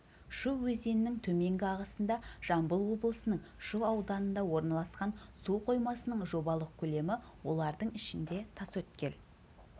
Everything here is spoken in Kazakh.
шу өзенінің төменгі ағысында жамбыл облысының шу ауданында орналасқан су қоймасының жобалық көлемі олардың ішінде тасөткел